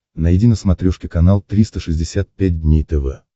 найди на смотрешке канал триста шестьдесят пять дней тв